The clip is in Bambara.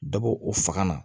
Dɔbɔ o faga na